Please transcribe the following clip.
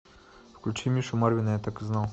включи мишу марвина я так и знал